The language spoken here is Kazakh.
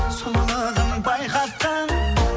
сұлулығын байқатқан